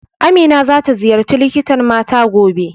Amina za ta ziyarci likitan mata gobe